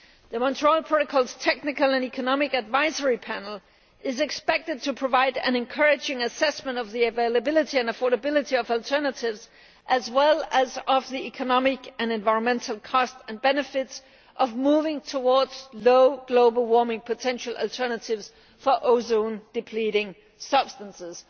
The Montreal Protocol's Technology and Economic Assessment Panel is expected to provide an encouraging assessment of the availability and affordability of alternatives, as well as of the economic and environmental costs and benefits of moving towards low global warming potential alternatives for ozone depleting substances.